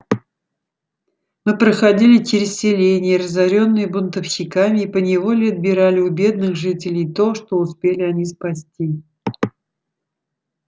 мы проходили через селения разорённые бунтовщиками и поневоле отбирали у бедных жителей то что успели они спасти